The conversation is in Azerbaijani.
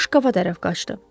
O şkafa tərəf qaçdı.